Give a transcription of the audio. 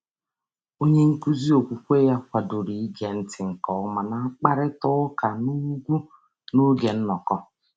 Onyenkụzi okwukwe ya kwadoro ige ntị nke ọma na mkparịtaụka n'ùgwù n'oge nnọkọ.